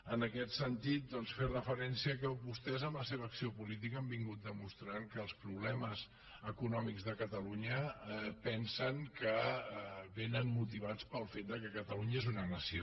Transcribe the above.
en aquest sentit doncs fer referència que vostès amb la seva acció política han vingut demostrant que els problemes econòmics de catalunya pensen que vénen motivats pel fet que catalunya és una nació